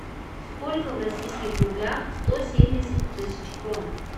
сколько в российских рублях сто семьдесят тысяч крон